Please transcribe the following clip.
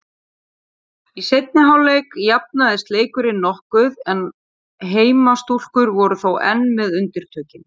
Í seinni hálfleik jafnaðist leikurinn nokkuð en heimastúlkur voru þó enn með undirtökin.